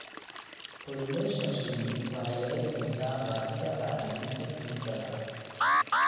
Pollination shinni waxay yaraynaysaa baahida bacriminta kiimikada.